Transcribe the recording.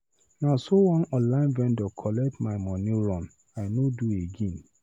Na so one online vendor collect my moni run, I no do again.